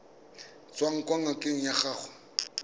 tswang kwa ngakeng ya gago